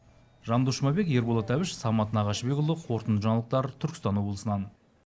жандос жұмабек ерболат әбіш самат нағашыбекұлы қорытынды жаңалықтар түркістан облысынан